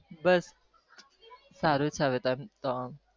બસ સારું છે હવે તો